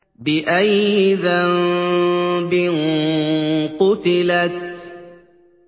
بِأَيِّ ذَنبٍ قُتِلَتْ